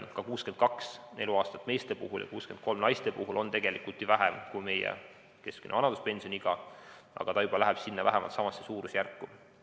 Ka 62 eluaastat meeste puhul ja 63 naiste puhul on ju vähem kui meie keskmine vanaduspensioniiga, aga see läheb juba vähemalt sinnasamasse suurusjärku.